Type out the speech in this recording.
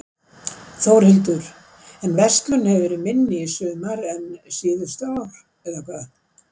Þórhildur: En verslun hefur verið minni í sumar en síðustu ár, eða hvað?